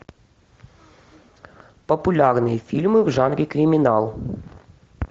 популярные фильмы в жанре криминал